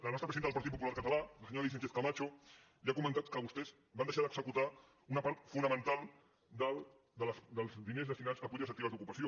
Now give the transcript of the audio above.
la nostra presidenta del partit popular català la senyora alícia sánchez camacho li ha comentat que vostès van deixar d’executar una part fonamental dels diners destinats a polítiques actives d’ocupació